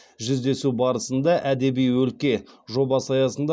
жүздесу барысында әдеби өлке жобасы аясында